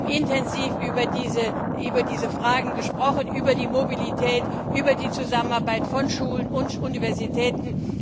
Wir haben intensiv über diese Fragen gesprochen, über die Mobilität, über die Zusammenarbeit von Schulen und Universitäten.